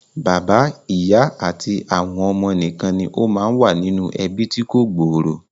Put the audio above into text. Bàbá, ìyá àti àwọn ọmọ nìkan ni ó máa ń wà nínú ẹbí tí kò gbòòrò